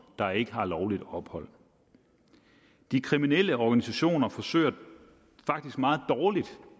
der ikke har lovligt ophold de kriminelle organisationer forsøger faktisk meget dårligt